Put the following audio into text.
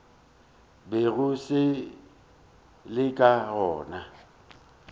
bego se le ka gona